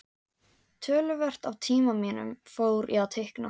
Töluvert af tíma mínum fór í að teikna.